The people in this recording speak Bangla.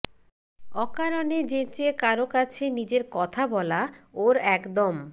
অকারণে যেচে কারো কাছে নিজের কথা বলা ওর একদম